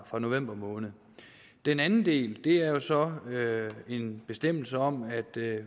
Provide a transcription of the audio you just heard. fra november måned den anden del er så en bestemmelse om at